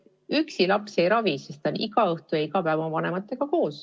Üksi laps ennast ei ravi, sest ta on iga õhtu ja iga päev oma vanematega koos.